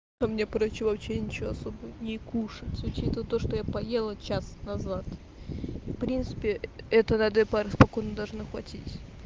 мне короче вообще ничего особо не кушать учитывая то что я поела час назад в принципе это на одной паре спокойно должно хватить